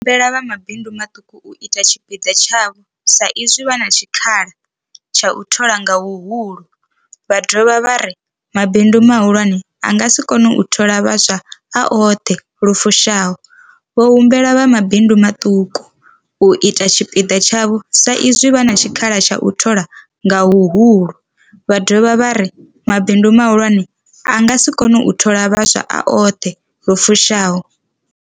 Vho humbela vha mabindu maṱuku u ita tshipiḓa tshavho sa izwi vha na tshikhala tsha u thola nga huhulu, vha dovha vha ri mabindu mahulwane a nga si kone u thola vhaswa a oṱhe lu fushaho. Vho humbela vha mabindu maṱuku u ita tshipiḓa tshavho sa izwi vha na tshikhala tsha u thola nga huhulu, vha dovha vha ri mabindu mahulwane a nga si kone u thola vhaswa a oṱhe lu fushaho.